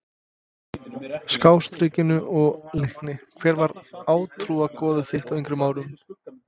Skástrikinu og Leikni Hver var átrúnaðargoð þitt á yngri árum?